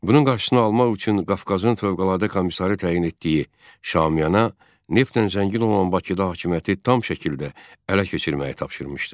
Bunun qarşısını almaq üçün Qafqazın fövqəladə komissarı təyin etdiyi Şaumyana neftdən zəngin olan Bakıda hakimiyyəti tam şəkildə ələ keçirməyi tapşırmışdı.